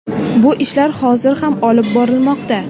Bu ishlar hozir ham olib borilmoqda.